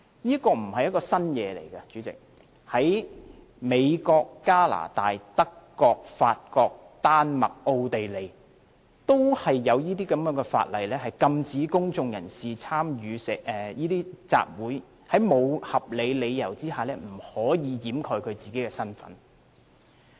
這並非新事物，代理主席，在美國、加拿大、德國、法國、丹麥和奧地利都有這項法例，禁止公眾人士在參與集會時，在沒有合理理由下掩飾自己的身份。